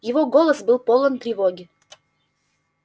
его голос был полон тревоги